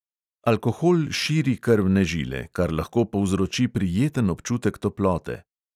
Alkohol širi krvne žile, kar lahko povzroči prijeten občutek toplote.